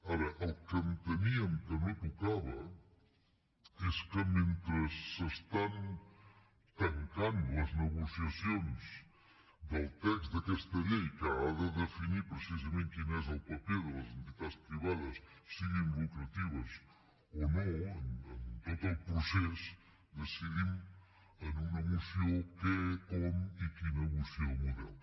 ara el que enteníem que no tocava és que mentre s’estan tancant les negociacions del text d’aquesta llei que ha de definir precisament quin és el paper de les entitats privades siguin lucratives o no en tot el procés decidim en una moció què com i qui negocia el model